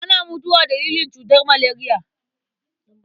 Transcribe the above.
Ana mutuwa dalilin cutar maleriya.